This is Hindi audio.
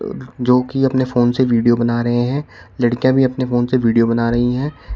जो कि अपने फोन से वीडियो बना रहे हैं लड़कियां भी अपने फोन से वीडियो बना रही हैं।